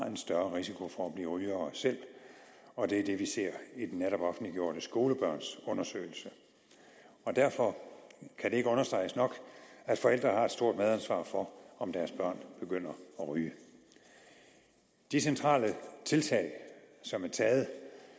en større risiko for at blive rygere selv og det er det vi ser i den netop offentliggjorte skolebørnsundersøgelse og derfor kan det ikke understreges nok at forældre har et stort medansvar for om deres børn begynder at ryge de centrale tiltag som er taget